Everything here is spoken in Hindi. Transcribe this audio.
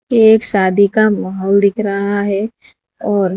एक शादी का माहौल दिख रहा है और --